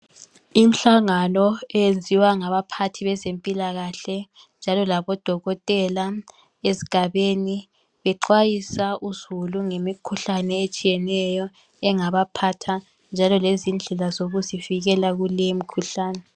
Imihlangano eyenziwa ngabaphathi bezempilakahle njalo labodokotela ezigabeni .Bexwayisa uzulu ngemikhuhlane etshiyeneyo engaba phatha .Njalo lezindlela zokuzivikela kule mikhuhlane .